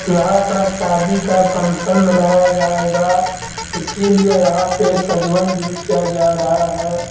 यहाँ पर शादी का फंक्शन मनाया जायेगा इसलिए यहाँ पे सजवन भी किया जा रहा है।